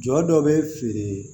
Jɔ dɔ bɛ feere